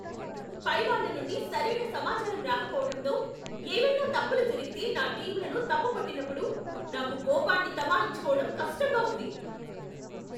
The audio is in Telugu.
పైవాళ్ళ నుండి సరైన సమాచారం రాకపోవటంతో, ఏవైనా తప్పులు జరిగితే నా టీమ్లను తప్పు పట్టినప్పుడు నాకు కోపాన్ని తమాయించుకోవడం కష్టంగా ఉంది.